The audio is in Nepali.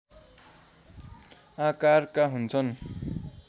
आकारका हुन्छन्